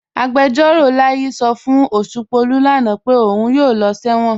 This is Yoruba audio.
Agbẹjọ̀ró Láyí̀ sọ́ fún Oṣùpọ̀lú lánà pé ọ̀un yóò lọ̀ sẹwọn.